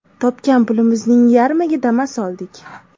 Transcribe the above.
Topgan pulimizning yarmiga Damas oldik.